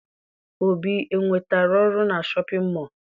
Obi enwetara ọrụ na shọpịn mọọ?